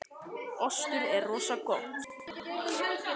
Við vorum yfir á mörgum sviðum í gær en erum óheppnar í lokin.